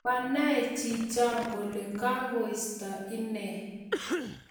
Manaee chiichoo kole kakoistoo inee